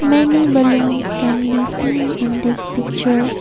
Many balloons can be seen in this picture.